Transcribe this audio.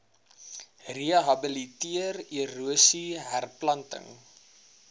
rehabiliteer erosie herplanting